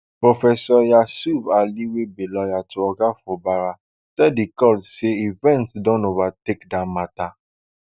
professor yusuf ali wey be lawyer to oga fubara tell di court say events don overtake dat matter